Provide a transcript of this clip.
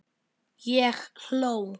Ég hló.